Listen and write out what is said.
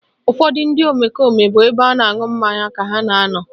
Ụfọdụ ndị omekome bụ n'ebe a na-aṅụ mmanya ka ha na anọ